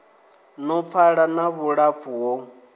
no pfala na vhulapfu ho